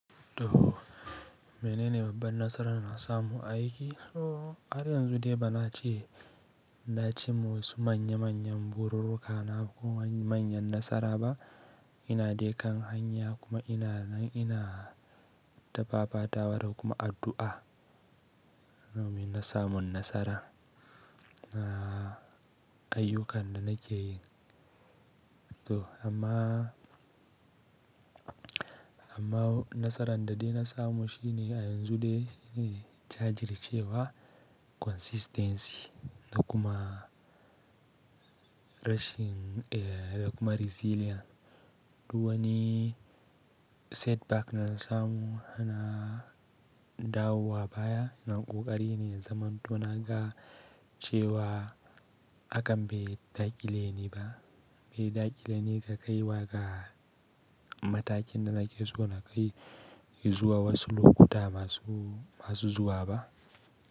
To mene ne babban nasaran da na samu a aiki? To har yanzu dai ba na ce na ci ma wasu manya manyan bururruka na ko manyan nasara ba. Ina de kan hanya kuma ina nan ina ta fafatawa da kuma addu'a domin na samun nasara na ayyukan da nake yi. To amma, amma nasaran da dai na samu shine a yanzu dai shine na jajircewa consistency da kuma rashin eh da kuma resilience. Duwani setback na samu na dawowa baya na ƙoƙari ne in zamantona ga cewa hakan bai dakile ni ba. Bai dakile ni ga kaiwa ga matakin da nake so na kai. Izuwa wa wasu lokuta masu, masu zuwa ba.